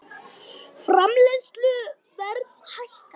Framleiðsluverð hækkar